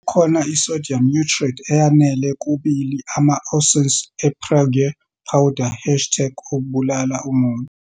Ngakho, kukhona i-sodium nitrite eyanele kubili ama-ounces e-Prague powder, hashtag kunye ukubulala umuntu.